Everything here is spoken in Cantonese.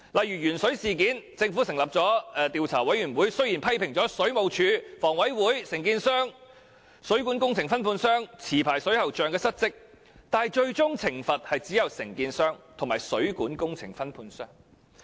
以鉛水事件為例，雖然政府成立的調查委員會批評水務署、香港房屋委員會、承建商、水管工程分判商及持牌水喉匠失職，但最終受到懲罰的只有承建商和水管工程分判商。